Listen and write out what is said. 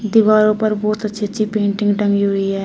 दीवारों पर बहुत अच्छी अच्छी पेंटिंग टंगी हुई है।